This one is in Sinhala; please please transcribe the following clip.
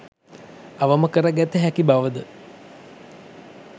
අවම කර ගත හැකි බවද